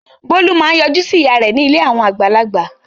Bólú máa ń yọjú sí ìyá rẹ̀ ní ilé àwọn àgbàlagbà.